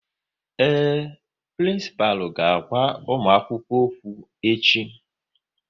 Ee, prịnsịpalụ ga-agwa ụmụakwukwo okwu echi